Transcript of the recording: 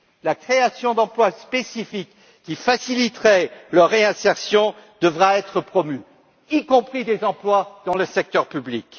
La création d'emplois spécifiques qui faciliteraient leur réinsertion devra être promue, y compris des emplois dans le secteur public.